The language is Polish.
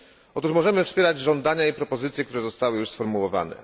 Otóż możemy wspierać żądania i propozycje, które zostały już sformułowane.